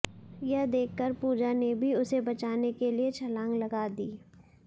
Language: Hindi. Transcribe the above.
यह देखकर पूजा ने भी उसे बचाने के लिए छलांग लगा दी